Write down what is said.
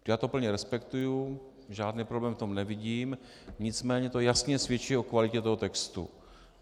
Já to plně respektuji, žádný problém v tom nevidím, nicméně to jasně svědčí o kvalitě toho textu.